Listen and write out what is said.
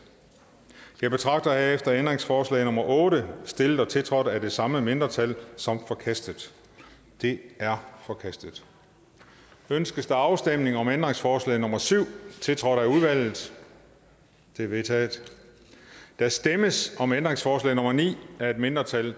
jeg betragter herefter ændringsforslag nummer otte stillet og tiltrådt af de samme mindretal som forkastet det er forkastet ønskes afstemning om ændringsforslag nummer syv tiltrådt af udvalget det er vedtaget der stemmes om ændringsforslag nummer ni af et mindretal